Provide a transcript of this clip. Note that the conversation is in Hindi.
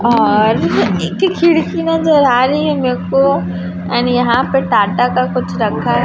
और एक खिड़की नजर आ रही है मेरे को एंड यहां पर टाटा का कुछ रखा है।